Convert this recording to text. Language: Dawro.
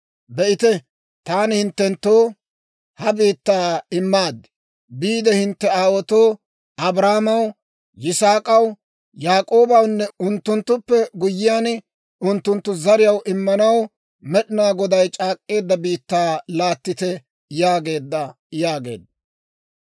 Be'ite, taani hinttenttoo ha biittaa immaad. Biide hintte aawaatoo, Abrahaamaw, Yisaak'aw, Yaak'oobawunne, unttunttuppe guyyiyaan, unttunttu zariyaw immanaw Med'inaa Goday c'aak'k'eedda biittaa laattite› yaageedda» yaageedda.